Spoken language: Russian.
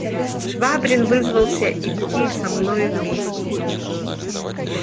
швабрин вызвался идти со мною вместе